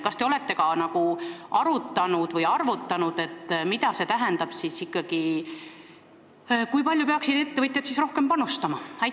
Kas te olete arutanud või arvutanud, mida see ikkagi tähendab, kui palju peaksid ettevõtjad rohkem panustama?